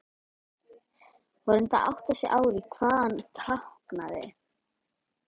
Hún reyndi að átta sig á því hvað hann táknaði.